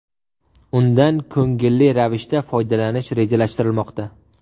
Undan ko‘ngilli ravishda foydalanish rejalashtirilmoqda.